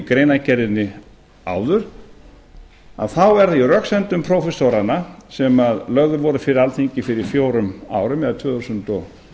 greinargerðinni áður þá er í röksemdum prófessoranna sem lögð voru fyrir alþingi fyrir fjórum árum eða tvö þúsund og